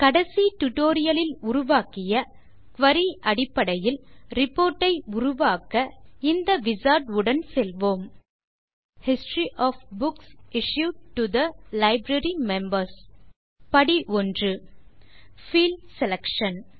கடைசி டியூட்டோரியல் லில் உருவாக்கிய குரி அடிப்படையில் ரிப்போர்ட் ஐ உருவாக்க இந்த விசார்ட் உடன் செல்வோம் history of books issued to the library members step 1 field selection